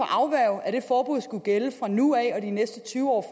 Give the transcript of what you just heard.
afværge at det forbud skulle gælde fra nu af og de næste tyve år